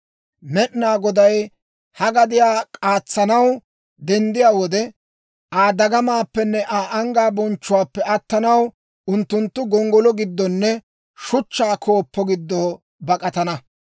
Med'inaa Goday ha gadiyaa k'aatsanaw denddiyaa wode, Aa dagamaappenne Aa anggaa bonchchuwaappe attanaw unttunttu gonggolo giddonne shuchchaa kooppo giddo bak'atana.